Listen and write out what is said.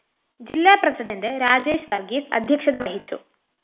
ജില്ലാ പ്രസിഡന്റ് രാജേഷ് വര്‍ഗീസ് അധ്യക്ഷത വഹിച്ചു